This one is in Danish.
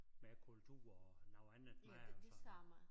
Madkultur og noget andet mad og sådan noget